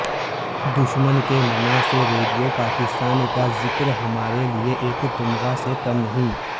دشمن کے منہ سے ریڈیو پاکستان کا زکر ہمارے لئے ایک تمغے سے کم نہی